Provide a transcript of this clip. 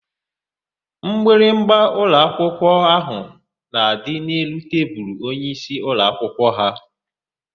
Mgbịrịgba ụlọakwụkwọ ahụ na-adị n'elu tebulu onyeisi ụlọakwụkwọ ha.